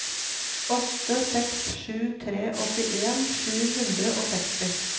åtte seks sju tre åttien sju hundre og seksti